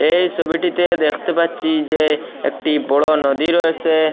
এই সবিটিতে দেখতে পাচ্ছি যে একটি বড় নদী রয়েসে।